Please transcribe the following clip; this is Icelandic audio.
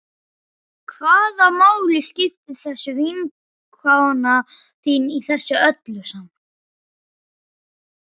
Hvaða máli skiptir þessi vinkona þín í þessu öllu saman?